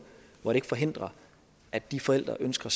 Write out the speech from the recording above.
hvor det ikke forhindrer at de forældre ønsker